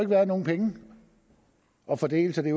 været nogen penge at fordele så det